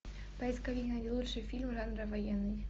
поисковик найди лучшие фильмы жанра военный